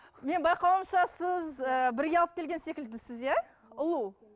менің байқауымша сіз ы бірге алып келген секілдісіз иә ұлу